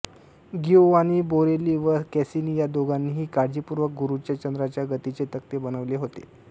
Giovanni Borelli व Cassini या दोघांनीही काळजीपूर्वक गुरूच्या चंद्रांच्या गतीचे तक्ते बनविले होते